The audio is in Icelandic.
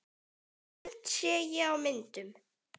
Sumt sé ég á myndum.